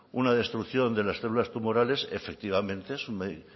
una destrucción de las penas tumorales efectivamente